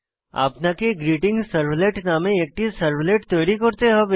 আপনাকে গ্রীটিংসার্ভলেট নামে একটি সার্ভলেট তৈরি করতে হবে